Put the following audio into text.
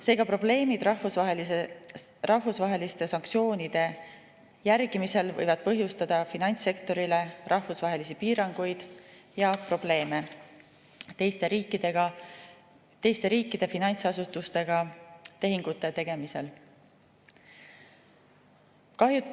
Seega, probleemid rahvusvaheliste sanktsioonide järgimisel võivad põhjustada finantssektorile rahvusvahelisi piiranguid ja probleeme teiste riikide finantsasutustega tehingute tegemisel.